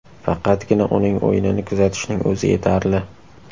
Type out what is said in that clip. Faqatgina uning o‘yinini kuzatishning o‘zi yetarli.